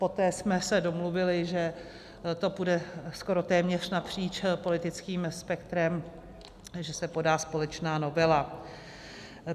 Poté jsme se domluvili, že to půjde skoro téměř napříč politickým spektrem, že se podá společná novela.